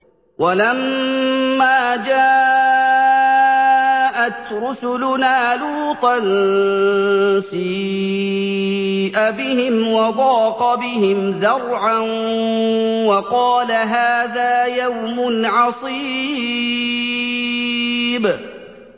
وَلَمَّا جَاءَتْ رُسُلُنَا لُوطًا سِيءَ بِهِمْ وَضَاقَ بِهِمْ ذَرْعًا وَقَالَ هَٰذَا يَوْمٌ عَصِيبٌ